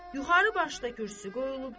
Yuxarı başda kürsü qoyulubdu.